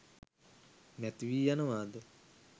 නැතිවී යනවා ද?